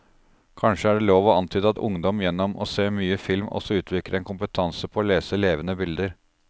Kanskje er det lov å antyde at ungdom gjennom å se mye film også utvikler en kompetanse på å lese levende bilder.